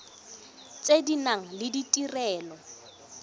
tse di nang le ditirelo